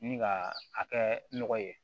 Ni ka a kɛ nɔgɔ ye